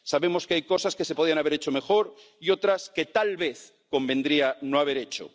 Sabemos que hay cosas que se podían haber hecho mejor y otras que tal vez convendría no haber hecho.